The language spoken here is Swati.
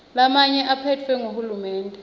lamanye aphetfwe nguhulumende